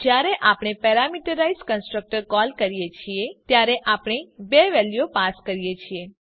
જયારે આપણે parameterize constructor call કરીએ છીએ ત્યારે આપણે બે વેલ્યુ પાસ કરીએ છીએ